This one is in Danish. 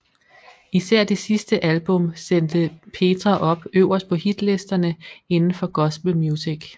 Især det sidste album sendte Petra op øverst på hitlisterne inden for gospel music